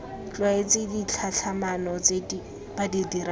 tlwaetse ditlhatlhamano tse ba dirang